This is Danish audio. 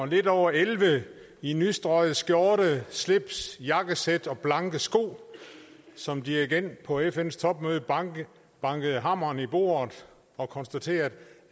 lidt over elleve i nystrøget skjorte slips jakkesæt og blanke sko som dirigent på fns topmøde bankede bankede hammeren i bordet og konstaterede